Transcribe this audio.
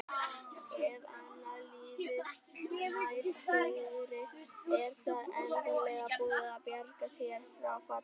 Ef annað liðið nær sigri er það endanlega búið að bjarga sér frá falli.